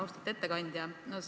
Austatud ettekandja!